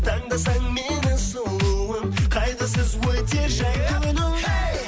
таңдасаң мені сұлуым қайғысыз өтер жай күнің әй